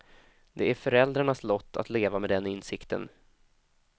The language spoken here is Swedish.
Det är föräldrarnas lott att leva med den insikten.